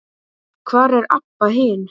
Hvar er Abba hin?